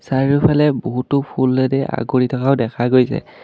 চাৰিওফালে বহুতো ফুলেৰে আগুৰি থকাও দেখা গৈছে।